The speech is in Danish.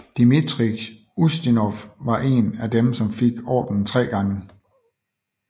Dmitrij Ustinov var en af dem som fik ordenen tre gange